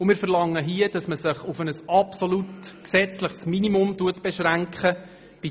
Wir verlangen, dass man sich bei den Geldausgaben für die Archäologie auf ein absolutes gesetzliches Minimum beschränkt.